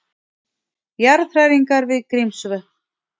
Jarðhræringar við Grímsvötn